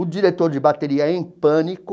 O diretor de bateria é em pânico.